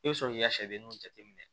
I bɛ sɔrɔ k'i ka sɛdenninw jateminɛ